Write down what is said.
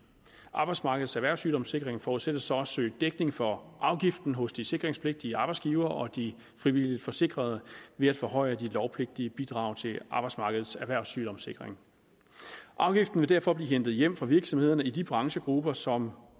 arbejdsmarkedets erhvervssygdomssikring forudsættes så at søge dækning for afgiften hos de sikringspligtige arbejdsgivere og de frivilligt forsikrede ved at forhøje de lovpligtige bidrag til arbejdsmarkedets erhvervssygdomssikring afgiften vil derfor blive hentet hjem fra virksomhederne i de branchegrupper som